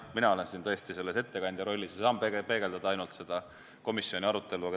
Mina olen siin praegu ettekandja rollis ja saan kajastada ainult komisjoni arutelu.